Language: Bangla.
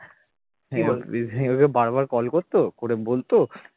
বারবার call করতো, করে বলতো